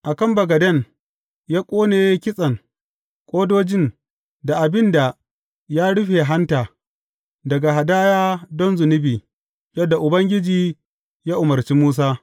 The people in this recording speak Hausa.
A kan bagaden, ya ƙone kitsen, ƙodojin, da abin da ya rufe hanta, daga hadaya don zunubi, yadda Ubangiji ya umarci Musa.